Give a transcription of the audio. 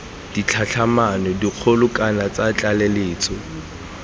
ditlhatlhamano dikgolo kana tsa tlaleletso